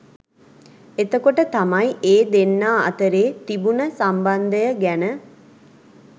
එතකොට තමයි ඒ දෙන්නා අතරේ තිබුණ සම්බන්ධය ගැන